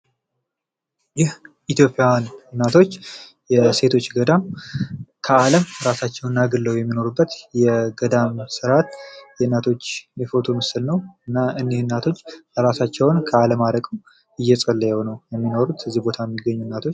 ይህ ኢትዮጵያዊያን እናቶች የሴቶች ገዳም ከአለም ራሳቸውን አግለው የሚኖሩበት የገዳም ስርዓት የእናቶች የፎቶ ምስል ነው። እና እኒህ እናቶች እራሳቸውን ከአለም አርቀው እየፀለዩ ነው የሚኖሩት እዚህ ቦታ የሚገኙ እናቶች